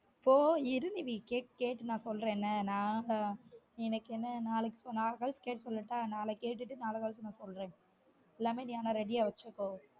போ இரு நிவீ கேட் கேட்டு நான் சொல்றன் என்ன நாங்கதான் எனக்கு என்ன நாளைக்கு நாள கழிச்சு கேட்டு சொல்லட்டான் நாளைக்கு கேட்டு நாள கழிச்சு சொல்றன் எல்லாமே நீ ஆனா ready ஆ வெச்சுக்கோ